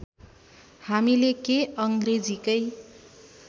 हामीले के अङ्ग्रेजीकै